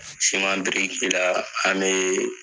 Siman biriki la an be